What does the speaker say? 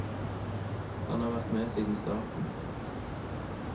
Han har vært med siden starten.